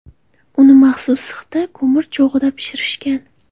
Uni maxsus sixda ko‘mir cho‘g‘ida pishirishgan.